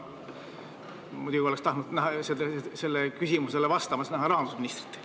Muidugi, ma oleks tahtnud näha sellele küsimusele vastamas rahandusministrit.